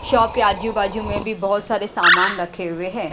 Shop के आजू-बाजू में भी बहुत सारे सामान रखे हुए हैं।